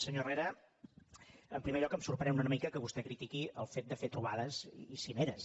senyor herrera en primer lloc em sorprèn una mica que vostè critiqui el fet de fer trobades i cimeres